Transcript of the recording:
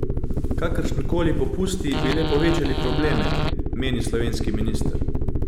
Kakršni koli popusti bi le povečali probleme, meni slovenski minister.